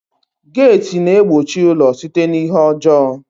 Geeti na-egbochi ụlọ site n'ihe ọjọọ